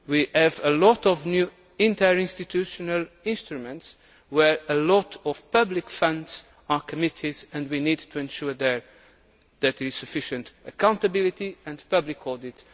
We have a lot of new interinstitutional instruments where a lot of public funds are committed, and we need to ensure that there is sufficient accountability and public audit.